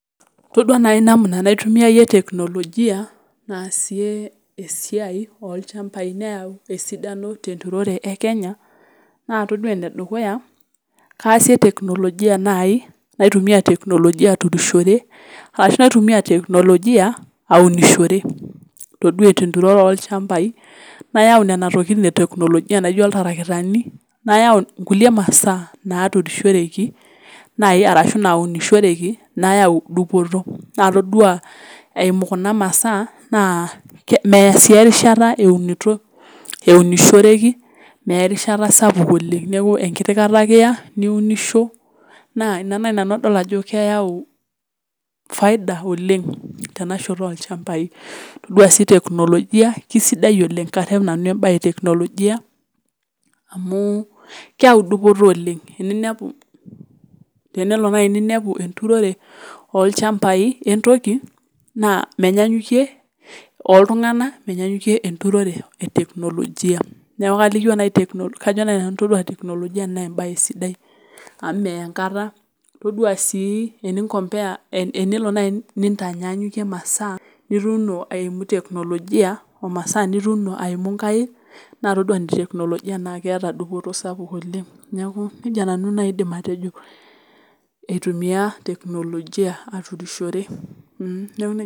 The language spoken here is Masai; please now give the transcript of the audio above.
Todua naaji namna nitumia technologia aasie esiai oolchambai neyau esidano teunore e Kenya naa todua ene dukuya kaasi technologia naaji naitumiya aunishore ashu naitumiya technologia aunishore tenturore oolchambai naayau nena tokitin e technologia naijio iltarakitani nayau kulie mashaa naaturishoreki naaji ashu naunishoreki nayau dupoto naa todua eimu kuna masaa naaeya sii erishata eunishoreki meeya erishata sapuk oleng enkiti rishata ake niunisho naa ina naaji nanu adol ajo keeyau faida oleng tenashoto olchambai todua sii technologia keisidai oleng karep nanu todua sii embaye e technologia aamu keeyau dupoto oleng tenelo naaji niyau enturore oolchambai menyaanyukie ooltung'anak menyaanyukie enturore e technologia kajo naaji nani amu meya enkata todua sii tenelo naaji nintanaanyukie imasaa nituuni o noonkaik naa todua technologia ajo keeta dupoto sapuk oleng neeku nejia nanu aidim atejo aitumia technologia aturishore neeku nejia nanu aidim atejo .